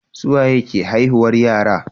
suwaye ke haihuwar yara